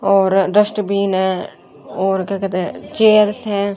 और डस्टबिन है और क्या कहते हैं चेयर्स हैं।